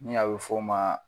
Ni a bi f'o ma